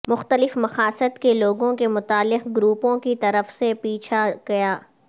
مختلف مقاصد کے لوگوں کے متعلقہ گروپوں کی طرف سے پیچھا کیا